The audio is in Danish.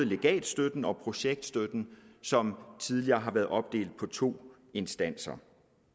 legatstøtten og projektstøtten som tidligere har været opdelt i to instanser